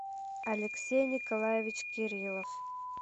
алексей николаевич кириллов